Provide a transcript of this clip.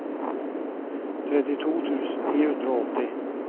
trettito tusen ni hundre og åtti